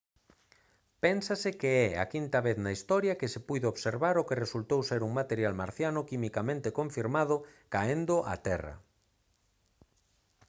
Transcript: pénsase que é a quinta vez na historia que se puido observar o que resultou ser un material marciano quimicamente confirmado caendo á terra